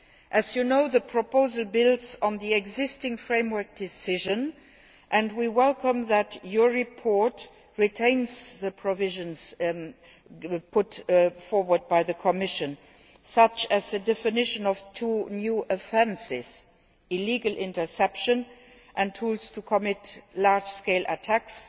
As you know, the proposal builds on the existing Framework Decision and we welcome that your report retains the provisions put forward by the Commission, such as the definition of two new offences illegal interception and tools to commit large scale attacks